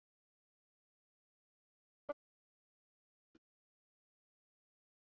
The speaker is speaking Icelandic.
Eyjafjallajökull svartur af ösku, Gígjökull fremst.